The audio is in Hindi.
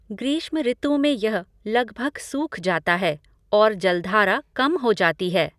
ग्रीष्म ऋतु में यह लगभग सूख जाता है, और जलधारा कम हो जाती है।